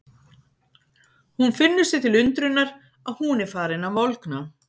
Hún finnur sér til undrunar að hún er farin að volgna.